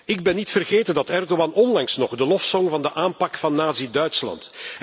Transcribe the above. Ik ben niet vergeten dat Erdogan onlangs nog de lof zong van de aanpak van nazi Duitsland.